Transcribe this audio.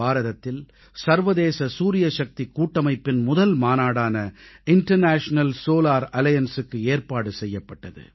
பாரதத்தில் சர்வதேச சூரியசக்திக் கூட்டமைப்பின் முதல் மாநாடான இன்டர்நேஷனல் சோலார் Allianceக்கு ஏற்பாடு செய்யப்பட்டது